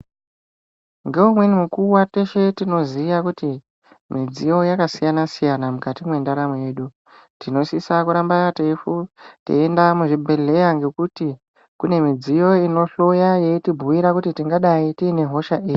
Ngeumweni mukuwa teshe tinoziva kuti midziyo yakasiyana siyana mukati mwendaramo yedu tinosisa kuramba teifunda teienda ngokuti kune midziyo inohloya yeitibhuyira kuti tingadai tine hosha iri.